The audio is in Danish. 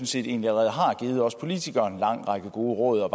set egentlig allerede har givet os politikere en lang række gode råd og